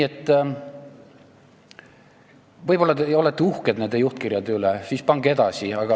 Võib-olla te olete uhked selliste juhtkirjade üle, siis pange edasi!